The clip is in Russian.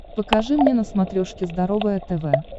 покажи мне на смотрешке здоровое тв